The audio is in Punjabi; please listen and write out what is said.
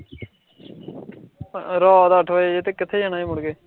ਰਾਤ ਅੱਠ ਵਜੇ ਐਥੇ ਕਿਥੇ ਜਾਣਾ ਏ ਮੁੜਕੇ